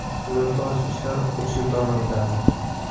Suratga olish ishlari uch yil davom etadi.